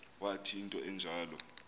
wathi into enjalo